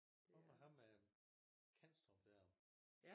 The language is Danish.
Hvad med ham Kanstrup der